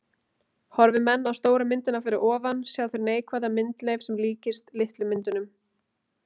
Horfi menn á stóru myndina fyrir ofan sjá þeir neikvæða myndleif sem líkist litlu myndunum.